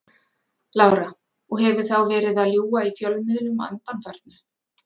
Lára: Og hefur þá verið að ljúga í fjölmiðlum að undanförnu?